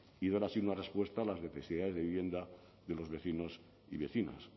y dar así una respuesta a las necesidades de vivienda de los vecinos y vecinas